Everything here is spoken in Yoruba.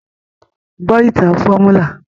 Gbọ́ ìtàn fọ́múlà!